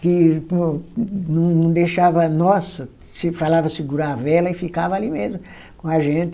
que não, não deixava, nossa! Se falava segurar vela e ficava ali mesmo com a gente.